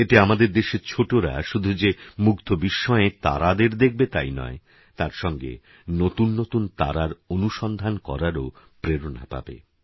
এতেআমাদেরদেশেরছোটরাশুধুযেমুগ্ধবিস্ময়েতারাদেরদেখবেতাইনয় তারসঙ্গেনতুননতুনতারারঅনুসন্ধানকরারওপ্রেরণাপাবে